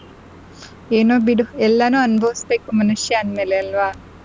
ಏನೋ ಬಿಡು ಎಲ್ಲಾನೂ ಅನುಭವಿಸಬೇಕು ಮನುಷ್ಯ ಅಂದ್ಮೇಲೆ ಅಲ್ವಾ.